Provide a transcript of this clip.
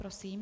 Prosím.